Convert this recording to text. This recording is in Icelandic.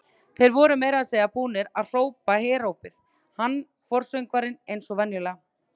Þeir voru meira að segja búnir að hrópa herópið, hann forsöngvarinn eins og venjulega.